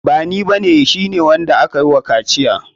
Bani ba ne, shi ne wanda akayi wa kaciya.